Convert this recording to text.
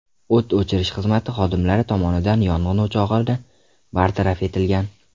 O‘t o‘chirish xizmati xodimlari tomonidan yong‘in o‘chog‘ini bartaraf etilgan.